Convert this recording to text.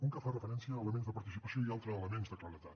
un que fa referència a elements de participació i un altre a elements de claredat